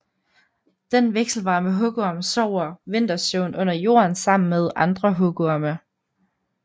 Den vekselvarme hugorm sover vintersøvn under jorden sammen med andre hugorme